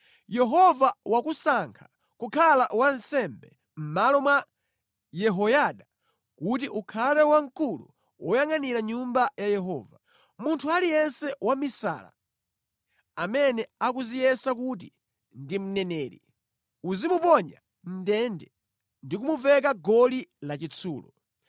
‘Yehova wakusankha kukhala wansembe mʼmalo mwa Yehoyada kuti ukhale wamkulu woyangʼanira Nyumba ya Yehova. Munthu aliyense wamisala amene akudziyesa kuti ndi mneneri uzimuponya mʼndende ndi kumuveka goli lachitsulo.